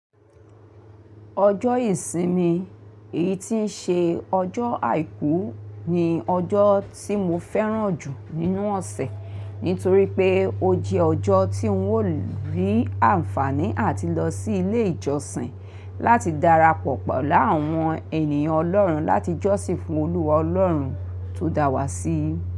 Ọjọ́ ìsinmi, èyí tí ń ṣe ọjọ́ àìkú ni ọjọ́ tí mo fẹ́ràn jù nínú ọ̀sẹ̀, nítorí pé ó jẹ́ ọjọ́ tí ń wò rí àǹfààní àti lọ sí ilé ìjọsìn láti darapọ̀ pọ̀ pelu àwọn ènìyàn ọlọ́run láti jọ́sìn fún Olúwa ọlọ́run tó dá wa sí.